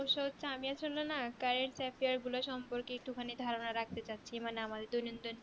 সমস্যা হচ্ছে যে আমি আসলে না current affairs গুলা সম্পর্কের একটু খানিক ধারণা রাখতে চাচ্ছি আমাদের দৈনন্দিন